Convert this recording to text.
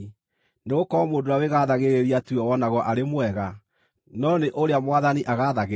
Nĩgũkorwo mũndũ ũrĩa wĩgaathagĩrĩria tiwe wonagwo arĩ mwega, no nĩ ũrĩa Mwathani agathagĩrĩria.